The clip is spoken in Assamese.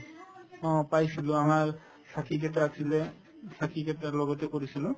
অ, পাইছিলো আমাৰ এটা আছিলে উম কেইটাৰ লগতে কৰিছিলো